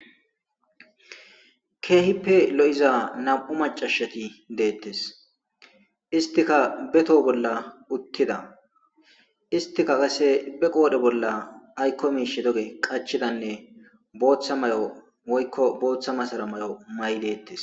Keehipe lo7iza nam7u maccashethi deeththes; isththika be thoho bolla uththida; isththikka qassi be qoore bolla aykko miishshi doge qachchidanne booththa mayo woykko booththa masaro maayide deeththes.